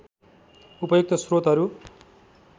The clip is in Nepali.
उपयुक्त स्रोतहरू